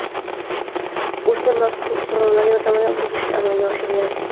O‘smir mazkur qurilmalar yordamida buzishni amalga oshirgan.